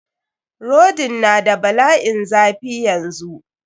Rodin n da bala'in zafi yanzu.